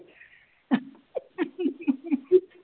।